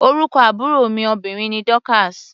Orúkọ àbúrò mi obìnrin ni Dorcas.